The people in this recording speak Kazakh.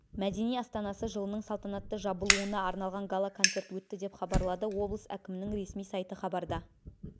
мәдени астанасы жылының салтанатты жабылуына арналған гала-концерт өтті деп хабарлады облыс әкімінің ресми сайты хабарда